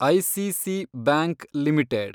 ICC bank limited